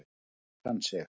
Lóan kann sig.